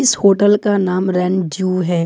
इस होटल का नाम रंड्यू है।